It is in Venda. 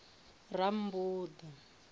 rammbuḓa